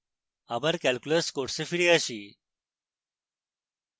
আবার calculus course ফিরে আসি